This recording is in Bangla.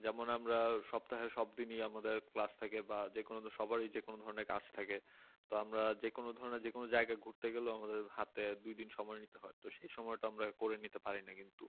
যেমন আমরা সপ্তাহের সব দিনই আমাদের ক্লাস থাকে বা সবারই যে কোন ধরনের যেকোনো ধরনের কাজ থাকে তো আমরা যেকোনো ধরনের যেকোনো জায়গায় ঘুরতে গেলেও আমাদের হাতে দুই দিন সময় নিতে হয় তো সেই সময়টা আমরা করে নিতে পারি না কিন্তু